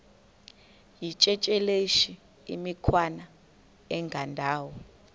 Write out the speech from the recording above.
yityesheleni imikhwa engendawo